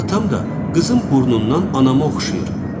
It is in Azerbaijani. Atam da qızım burnundan anama oxşayır.